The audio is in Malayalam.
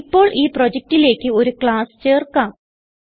ഇപ്പോൾ ഈ പ്രൊജക്റ്റിലേക്ക് ഒരു classചേർക്കാം